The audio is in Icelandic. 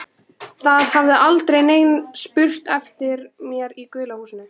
Það hafði aldrei neinn spurt eftir mér í gula húsinu.